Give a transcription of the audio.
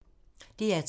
DR2